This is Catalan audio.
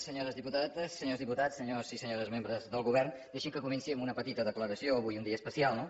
senyores diputades senyors diputats senyors i senyores membres del govern deixin que comenci amb una petita declaració avui un dia especial no